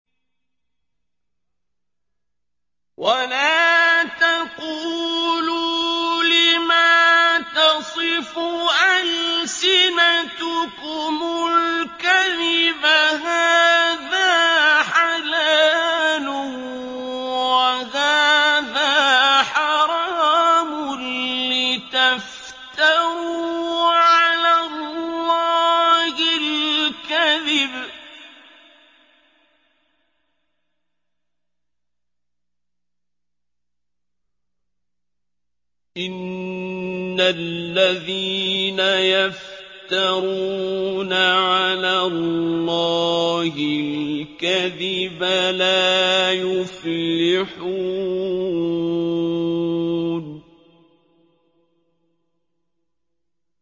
وَلَا تَقُولُوا لِمَا تَصِفُ أَلْسِنَتُكُمُ الْكَذِبَ هَٰذَا حَلَالٌ وَهَٰذَا حَرَامٌ لِّتَفْتَرُوا عَلَى اللَّهِ الْكَذِبَ ۚ إِنَّ الَّذِينَ يَفْتَرُونَ عَلَى اللَّهِ الْكَذِبَ لَا يُفْلِحُونَ